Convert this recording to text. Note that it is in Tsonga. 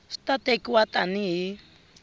swi ta tekiwa tani hi